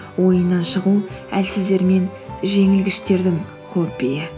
ойыннан шығу әлсіздер мен жеңілгіштердің хоббиі